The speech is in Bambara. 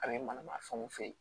A bɛ manamafɛnw feere